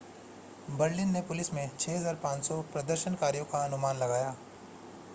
Berlin में police ने 6,500 प्रदर्शनकारियों का अनुमान लगाया